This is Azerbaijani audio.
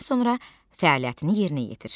Dinləmədən sonra fəaliyyətini yerinə yetir.